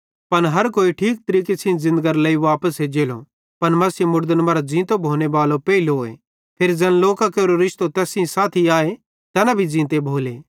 पन हर कोई ठीक तरीके सेइं ज़िन्दगरे लेइ वापस एज्जेलो पन मसीह मुड़दन मरां ज़ींतो भोनेबालो पेइलोए फिरी ज़ैन लोकां केरो रिश्तो तैस सेइं साथी आए तैना भी ज़ींते भोले